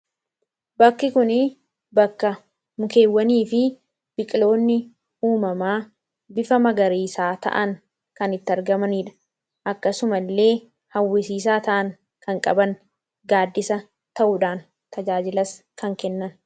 bakki kun bakka mukeewwanii fi biqiloonni uumamaa bifa magariisaa ta'an kan itti argamaniidha akkasuma illee hawwisiisaa ta'an kan qaban gaaddisa ta'uudhaan tajaajilas kan kennan